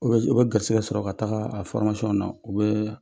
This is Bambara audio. U bɛ s u bɛ garisigɛ sɔrɔ ka tagaa a na u bɛɛ